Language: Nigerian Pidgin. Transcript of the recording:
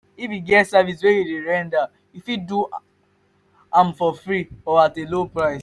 if e get service wey you dey render you fit do am for dem for free or at low price